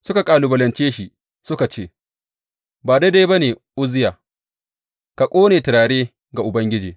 Suka kalubalance shi suka ce, Ba daidai ba ne, Uzziya, ka ƙone turare ga Ubangiji.